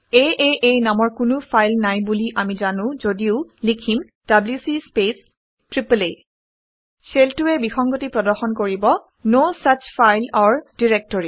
আঁ নামৰ কোনো ফাইল নাই বুলি আমি জানো যদিও লিখিম - ডব্লিউচি স্পেচ আঁ শ্বেলটোৱে বিসংগতি প্ৰদৰ্শন কৰিব - no such file or directory